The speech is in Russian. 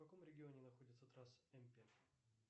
в каком регионе находится трасса м пять